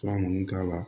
Fura ninnu k'a la